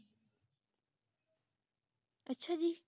ਅੱਛਾ ਜੀ